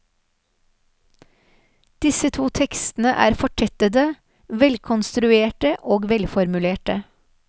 Disse to tekstene er fortettede, velkonstruerte og velformulerte.